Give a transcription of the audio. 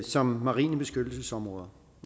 som marine beskyttelsesområder